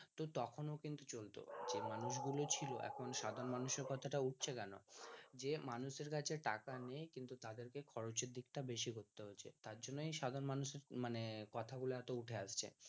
তো তখন ও কিন্তু চলত যে মানুষ গুলো ছিল এখন সাধারণ মানুষের কথা টা উঠছে কেন যে মানুষের কাছে টাকা নেই কিন্তু তাদেরকে খরচের দিক টা বেশি করতে হচ্ছে তার জন্যই সাধারণ মানুষের মানে কথা গুলো এত উঠে আসছে